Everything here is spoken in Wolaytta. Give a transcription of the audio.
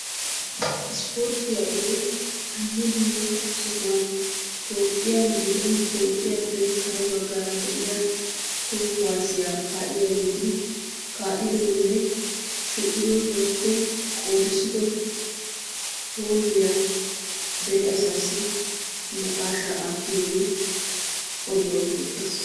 Ispporttiya odoy dumma dumma sohuwan Toophphiyan gidin Toophphiyappe kare baggaara de'iya toho kuwaasiya kaa'iyageeti kaa'idonne sho'ido woykko qoodissido hoolliya dere asaassi naqaashaa aattiyogee oduwa geetettees.